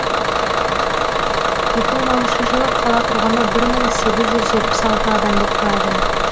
екі мың оныншы жылы қала тұрғыны бір мың сегіз жүз жетпіс алты адамды құрады